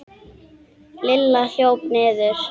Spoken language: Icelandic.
Lilla hljóp niður.